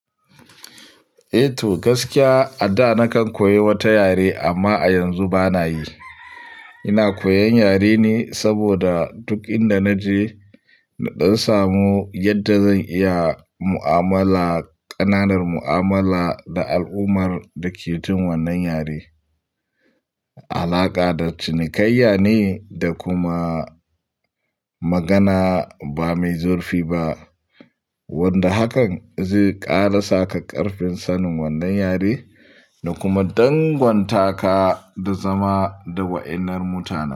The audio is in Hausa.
Eh to, gaskiya a da nakan koyi wata yare amma a yanzu bana yi. Ina koyan yare ne saboda duk inda naje na dam samu yadda zan iya mu'amala, ƙananan mu'amala da al'ummar da ke jin wannan yare. Alaƙa da cinikayya ne da kuma magana ba mai zurfi ba, wanda hakan zai ƙara saka ƙarfin sanin wannan yare da kuma danganta ka da zama da wa'innan mutane.